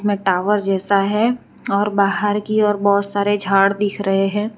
में टावर जैसा है और बाहर की ओर बहोत सारे झाड़ दिख रहे हैं।